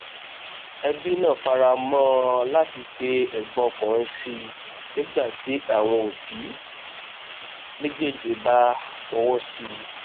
ẹbí náà faramọ ọn láti pe ẹgbọn ọkùnrin sí i nígbà tí àwọn òbí méjéèjì bá fọwọ sí i